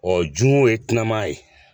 jun ye kunama ye.